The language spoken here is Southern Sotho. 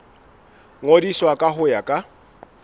ngodiswa ka ho ya ka